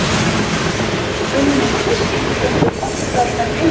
Ætli blái himininn sé skilgreindur oftar en einu sinni?